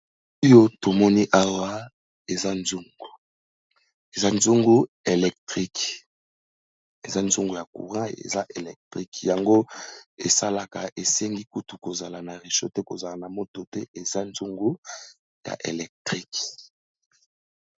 Oyo tomoni awa eza nzungu, eza nzungu électrique. Eza nzungu ya courant eza électrique, yango esalaka esengi kutu kozala na réchaud te, kozala na moto te eza nzungu ya électrique.